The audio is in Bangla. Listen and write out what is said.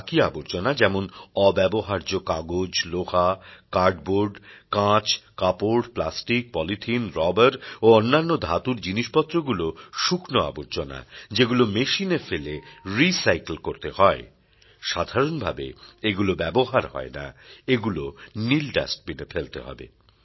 আর বাকি আবর্জনা যেমন অব্যবহার্য কাগজ লোহা কার্ড বোর্ড কাঁচ কাপড় প্লাস্টিক পলিথিন রবার ও অন্যান্য ধাতুর জিনিসপত্রগুলো শুকনো আবর্জনা যেগুলো মেশিনে ফেলে রি সাইকেল করতে হয় সাধারণভাবে এগুলো ব্যবহার হয় না এগুলো নীল ডাস্টবিন এ ফেলতে হবে